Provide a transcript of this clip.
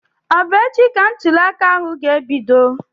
Ọ bụ echi ka ntụliaka ga ebido?